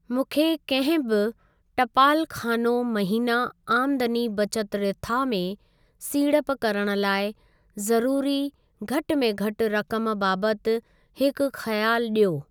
मूंखे कंहिं बि टपालख़ानो महिना आमदनी बचत रिथा में सीड़प करण लाइ ज़रूरी घटि में घटि रक़म बाबति हिकु खयाल ॾियो।